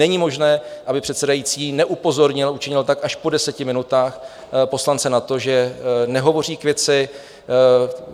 Není možné, aby předsedající neupozornil, učinil tak až po deseti minutách, poslance, na to, že nehovoří k věci.